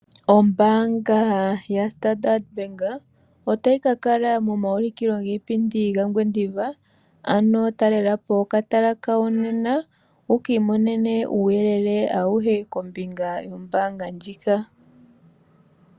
Ombaanga ya standard Bank otayi kakala momaulikilo giipindi gaOngwediva. Ano talelapo okatala kawo nena wukiimonene uuyelele auhe kombinga yombaanga ndjika.